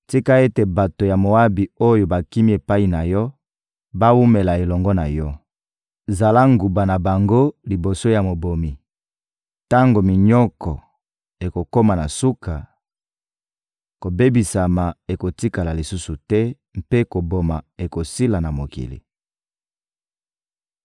Tika ete bato ya Moabi oyo bakimi epai na yo bawumela elongo na yo! Zala nguba na bango liboso ya mobomi.» Tango minyoko ekokoma na suka, kobebisama ekotikala lisusu te mpe koboma ekosila na mokili.